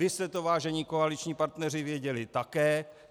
Vy jste to, vážení koaliční partneři, věděli také.